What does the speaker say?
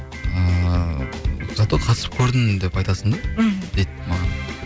ыыы за то қатысып көрдім деп айтасың да мхм дейді маған